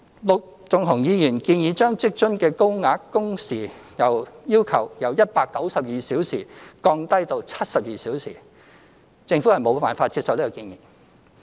陸頌雄議員建議將職津的高額工時要求由192小時降低至72小時，政府無法接受這建議。